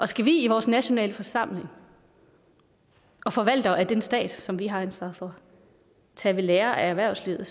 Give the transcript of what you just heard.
skal vi i vores nationale forsamling og forvaltere af den stat som vi har ansvaret for tage ved lære af erhvervslivet